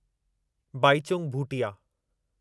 Baichung Bhutia